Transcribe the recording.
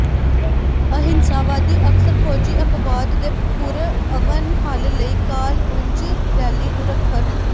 ਅਹਿੰਸਾਵਾਦੀ ਅਕਸਰ ਫੌਜੀ ਅਪਵਾਦ ਦੇ ਪੁਰਅਮਨ ਹੱਲ ਲਈ ਕਾਲ ਪੁੰਜ ਰੈਲੀ ਨੂੰ ਰੱਖਣ